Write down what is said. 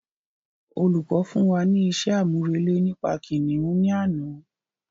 Olùkọ̀ fún wa ní isé àmúrelé nípa kìnìún ní àná